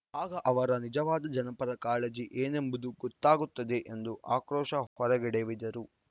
ಆಗ ಅವರ ನಿಜವಾದ ಜನಪರ ಕಾಳಜಿ ಏನೆಂಬುದು ಗೊತ್ತಾಗುತ್ತದೆ ಎಂದು ಆಕ್ರೋಶ ಹೊರಗೆಡವಿದರು